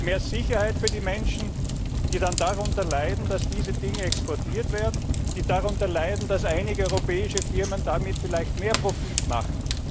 Mehr Sicherheit für die Menschen, die dann darunter leiden, dass diese Güter exportiert werden, die darunter leiden, dass einige europäische Firmen damit vielleicht mehr Profit machen!